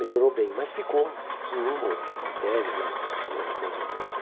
Melhorou bem, mas ficou em uma matéria lá, uma das matérias.